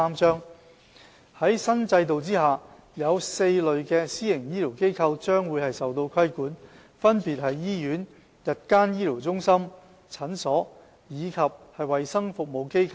在新制度下，有4類私營醫療機構將受到規管，分別是醫院、日間醫療中心、診所，以及衞生服務機構。